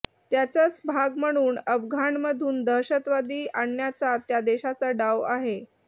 त्याचाच भाग म्हणून अफगाणमधून दहशतवादी आणण्याचा त्या देशाचा डाव आहे